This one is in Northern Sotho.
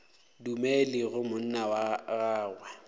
dumele ge monna wa gagwe